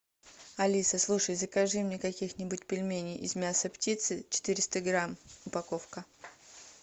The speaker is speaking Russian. алиса слушай закажи мне каких нибудь пельменей из мяса птицы четыреста грамм упаковка